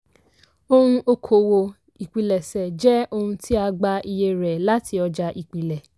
ohun okòwò ìpilẹ̀ṣẹ̀ jẹ́ ohun tí a gbà iye rẹ̀ láti ọjà ìpìlẹ̀.